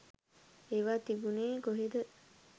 ඒවා තිබුනේ කොහෙද?